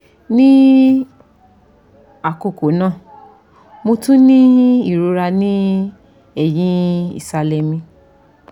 ni akoko naa mo tun ni irora ni ẹhin isalẹ mi